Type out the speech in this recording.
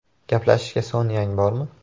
“Gaplashishga soniyang bormi?